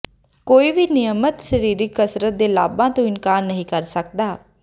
ਕੋਈ ਵੀ ਨਿਯਮਤ ਸਰੀਰਕ ਕਸਰਤ ਦੇ ਲਾਭਾਂ ਤੋਂ ਇਨਕਾਰ ਨਹੀਂ ਕਰ ਸਕਦਾ